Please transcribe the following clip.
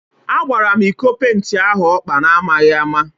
A gbara m ịkọ penti ahụ ọkpa na amaghị ama